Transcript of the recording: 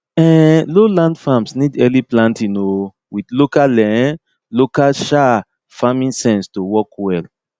um low land farms need early planting um with local um local um farming sense to work well